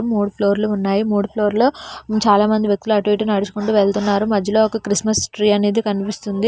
మూడు ఫ్లోర్లు ఉన్నాయి మూడు ఫ్లోర్లో చాలామంది వ్యక్తులు అటు ఇటు నడుచుకుంటూ వెళ్తున్నారు మధ్యలో ఒక క్రిస్మస్ ట్రీ అనేది కనిపిస్తుంది.